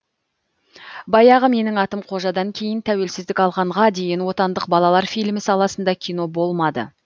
баяғы менің атым қожадан кейін тәуелсіздік алғанға дейін отандық балалар фильмі саласында кино болмады